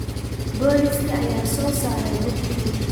Booliiska ayaa soo saaray hubkii.